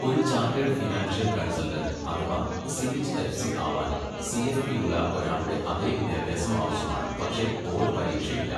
ഒരു chartered financial consultant അഥവാ CH FC ആവാൻ സിഎഫ്പി ഉള്ള ഒരാളുടെ അതേ വിദ്യാഭ്യാസം ആവശ്യമാണ്, പക്ഷേ ബോർഡ് പരീക്ഷ ഇല്ല.